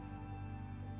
þú